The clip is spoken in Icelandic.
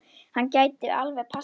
Hann gæti alveg passað það.